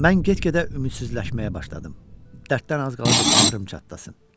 Mən get-gedə ümidsizləşməyə başladım, dərddən az qalırdı bağrım çatlasın.